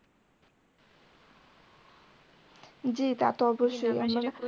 জী তা তো অবশ্যই